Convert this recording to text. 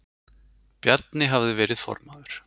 Bjarni hafði verið formaður